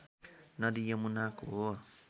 नदी यमुनाको हो